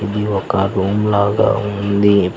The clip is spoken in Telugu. ఇది ఒక రూమ్ లాగా ఉంది.